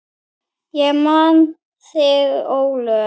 Ég man þig, Ólöf.